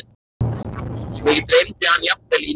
Mig dreymdi hann jafnvel í nótt.